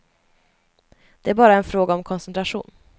Det är bara en fråga om koncentration.